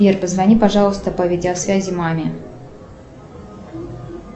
сбер позвони пожалуйста по видеосвязи маме